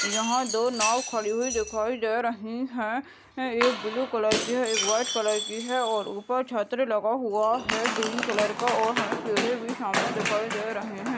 यहा दो नाव खड़ी हुई दिखाई दे रही है एक ब्लू कलर की है एक व्हाइट कलर की है और उपर छतरी लगा हुआ है ग्रीन कलर का और हमे पेड़े भी सामने दिखाई दे रहे हैं।